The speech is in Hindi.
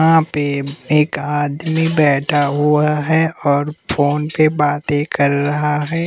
यहाँ पे एक आदमी बैठा हुआ है और फोन पर बातें कर रहा है।